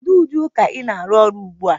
Kedu ụdị nka ị na-arụ ọrụ ugbu a?